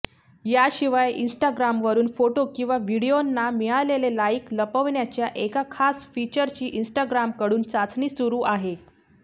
याशिवाय इंस्टाग्रामवरुन फोटो किंवा व्हिडीओंना मिळालेले लाइक लपवण्याच्या एका खास फीचरची इंस्टाग्रामकडून चाचणी सुरू आहे